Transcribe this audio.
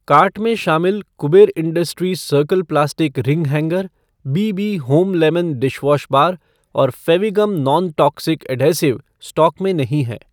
Cart में शामिल Kuber industries circle plastic ring hanger , BB home lemon dishwash bar और Fevigum non toxic adhesive stock में नहीं हैं।